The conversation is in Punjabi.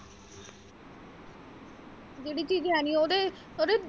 ਜਿਹੜੀ ਚੀਜ਼ ਹੈ ਨਹੀਂ ਉਹਦੇ ਉਹਦੇ।